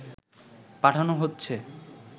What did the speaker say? পাঠানো হচ্ছে